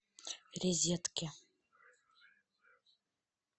резедке